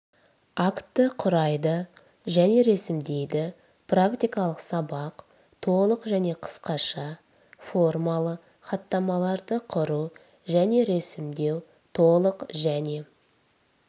акті құрайды және ресімдейді практикалық сабақ толық және қысқаша формалы хаттамаларды құру және ресімдеу толық және